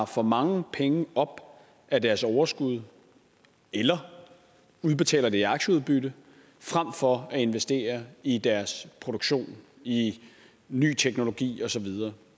for mange penge op af deres overskud eller udbetaler det i aktieudbytte frem for at investere i deres produktion i ny teknologi osv